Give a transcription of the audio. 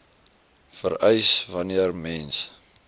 vereis wanneer mens